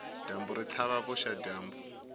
dyambu ri tlhava vuxadyambu